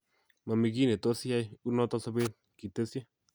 "Mamii kiy nitos iyai ,unoto sobet, Kitesyi.